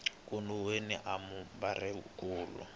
kun we ni mabumabumeri kulu